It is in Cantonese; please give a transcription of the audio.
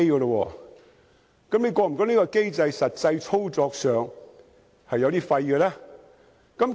那麼，局長是否覺得，這個機制實際操作上，是形同虛設？